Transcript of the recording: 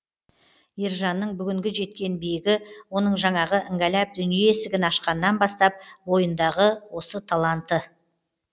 ержанның бүгінгі жеткен биігі оның жаңағы іңгәлап дүние есігін ашқаннан бастап бойындағы осы талантын